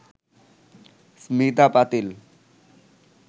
Smita Patil